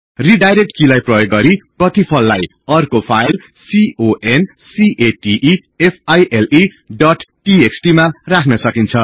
redirect किलाई प्रयोग गरि प्रतिफललाई अर्को फाईल कन्केटफाइल डोट टीएक्सटी मा राख्न सकिन्छ